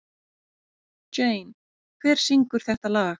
Jane, hver syngur þetta lag?